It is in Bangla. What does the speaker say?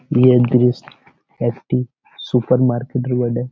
ভি.এন. তিরিশ একটি সুপার মার্কেট -এর বটে।